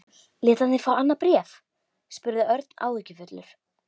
Lét hann þig fá annað bréf? spurði Örn áhyggjufullur.